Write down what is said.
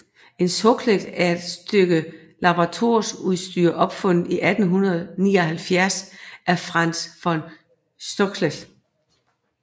En Soxhlet er et stykke laboratorieudstyr opfundet i 1879 af Franz von Soxhlet